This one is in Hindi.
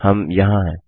हम यहाँ हैं